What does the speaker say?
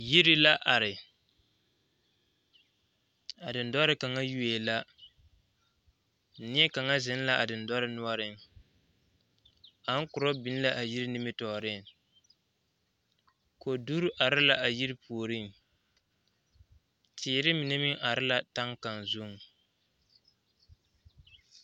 Yiri la are a dendɔre kaŋa yuo la neɛkaŋa zeŋ la a dendɔreŋ noɔreŋ aŋkura biŋ la a yiri nimitɔɔreŋ koduri are la a yiri puoriŋ teere mine meŋ are la taŋ kaŋa zuŋ.